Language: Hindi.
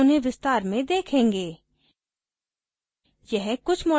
हम बाद में उन्हें विस्तार से देखेंगे